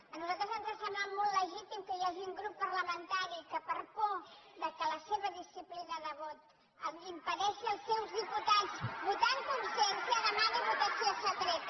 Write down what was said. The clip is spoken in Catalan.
a nosaltres ens sembla molt legítim que hi hagi un grup parlamentari que per por que la seva disciplina de vot impedeixi als seus diputats votar en consciència demani votació secreta